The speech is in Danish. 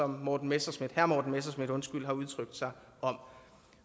morten messerschmidt har udtrykt sig om